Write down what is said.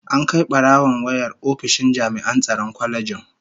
An Kai barawon wayar ofishin jami'an tsaron kwalejin